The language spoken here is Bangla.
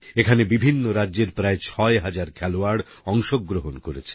এখানে বিভিন্ন রাজ্যের প্রায় ছয় হাজার খেলোয়াড় অংশগ্রহণ করেছেন